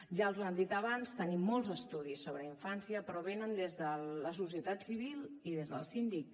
ja els ho han dit abans tenim molts estudis sobre la infància però venen des de la societat civil i des del síndic